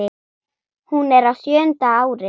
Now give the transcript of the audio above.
Hún er á sjöunda ári